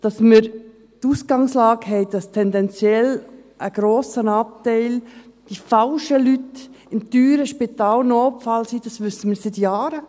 Dass wir die Ausgangslage haben, dass tendenziell ein grosser Anteil an falschen Leuten im teuren Spitalnotfall ist, wissen wir seit Jahren.